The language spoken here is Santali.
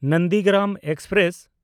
ᱱᱚᱱᱫᱤᱜᱨᱟᱢ ᱮᱠᱥᱯᱨᱮᱥ